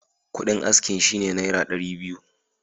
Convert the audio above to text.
Kuɗin askin shi ne Naira dari biyu.